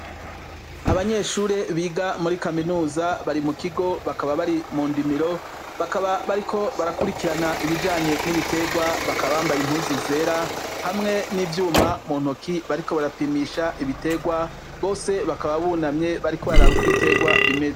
Abanyeshure biga muri kaminuza, bari mu kigo bakaba bari mu ndimiro, bakaba bariko barakurikirana ibijanye n'ibiterwa, bakaba bambaye impuzu zera hamwe n'ivyuma mu ntoki bariko barapimisha ibiterwa bose bakaba bunamye bariko bararab'uko ibiterwa bimeze.